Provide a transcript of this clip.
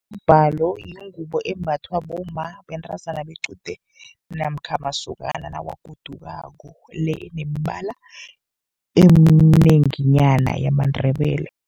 Umbhalo yingubo embathwa bomma, bentazana bequde, namkha masokana nawagodukako, le enemibala eminenginyana yamaNdebele.